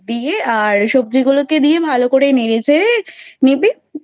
আর সবজি গুলো কে দিয়ে ভালো করে নেড়ে চেড়ে নিবি,